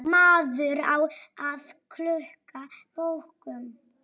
Maður á að skulda bönkum.